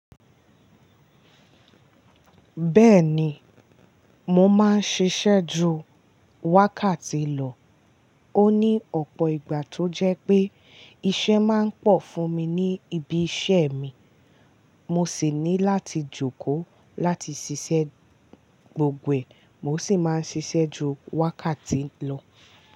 Bẹ́ẹ̀ni, mo máa ń ṣiṣẹ́ ju wákàtí lọ. Ó ní ọ̀pọ̀ ìgbà tó jẹ́ pé iṣẹ́ máa ń pọ̀ fún mi ní ibi iṣẹ́ mi, mo sì ní láti jókòó láti ṣiṣẹ́ gbogbo e, mo sì máa ń ṣiṣẹ́ ju wákàtí lọ.